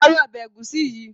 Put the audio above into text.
Parí Ọbẹ̀ egusi yi!